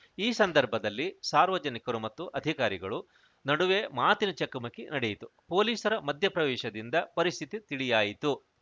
ಈ ಸಂದರ್ಭದಲ್ಲಿ ಸಾರ್ವಜನಿಕರು ಮತ್ತು ಅಧಿಕಾರಿಗಳು ನಡುವೆ ಮಾತಿನ ಚಕಮುಕಿ ನಡೆಯಿತು ಪೊಲೀಸರ ಮಧ್ಯ ಪ್ರವೇಶದಿಂದ ಪರಿಸ್ಥಿತಿ ತಿಳಿಯಾಯಿತು